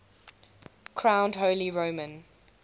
crowned holy roman